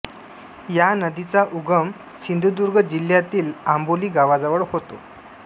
या नदीचा उगम सिंधुदुर्ग जिल्ह्यातील आंबोली गावाजवळ होतो